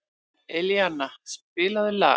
Elíana, spilaðu lag.